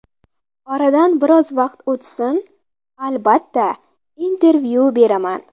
Oradan biroz vaqt o‘tsin, albatta, intervyu beraman.